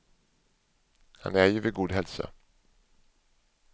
Han är ju vid god hälsa.